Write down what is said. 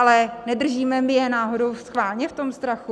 Ale nedržíme my je náhodou schválně v tom strachu?